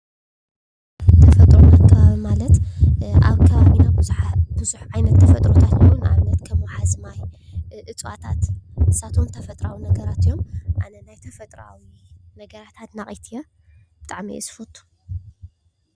ተፈጥሮን ኣከባብን ተፈጥሮን ኣከባብን ማለት አብ ከባቢ ብዙሓት ዓይነት ተፈጥሮታት ንአብነት፡- ከም ሓሰማ ፣ እፅዋታት ንሳቶም ተፈጥራዊ ነገራት እዮም፡፡ አነ ናይ ተፈጥራዊ ነገራት አድናቂት እየ:: ብጣዕሚ እየ ዝፈቱ፡፡